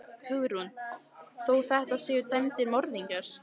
Hugrún: Þó þetta séu dæmdir morðingjar?